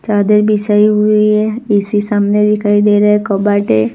चादर बिछाई हुई है ए_सी सामने दिखाई दे रहा है --